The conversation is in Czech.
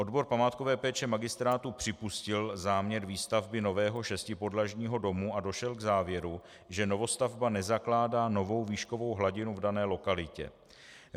Odbor památkové péče magistrátu připustil záměr výstavby nového šestipodlažního domu a došel k závěru, že novostavba nezakládá novou výškovou hladinu v dané lokalitě.